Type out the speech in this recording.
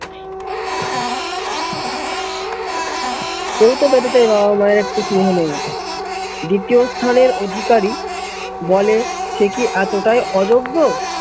স্থানের অধিকারী বলে সে কি এতটাই অযোগ্য